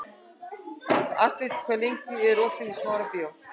Astrid, hvað er lengi opið í Smárabíói?